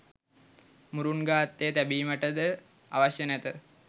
මුරුන්ගා අත්තේ තැබීමටද අවශ්‍ය නැත